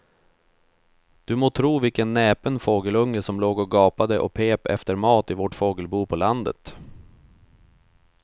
Du må tro vilken näpen fågelunge som låg och gapade och pep efter mat i vårt fågelbo på landet.